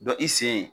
Dɔ i sen ye